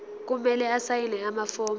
kumele asayine amafomu